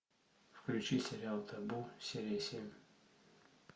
включи сериал табу серия семь